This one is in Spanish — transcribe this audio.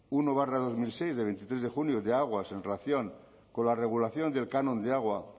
uno barra dos mil seis de veintitrés de julio de aguas en relación con la regulación del canon de agua